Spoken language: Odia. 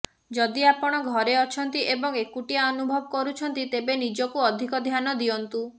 ଯଦି ଆପଣ ଘରେ ଅଛନ୍ତି ଏବଂ ଏକୁଟିଆ ଅନୁଭବ କରୁଛନ୍ତି ତେବେ ନିଜକୁ ଅଧିକ ଧ୍ୟାନ ଦିଅନ୍ତୁ